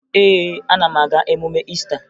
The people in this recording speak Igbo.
Ee, ana m aga emume Iista